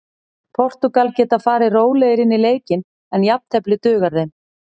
Portúgal geta farið rólegri inn í leikinn en jafntefli dugar þeim.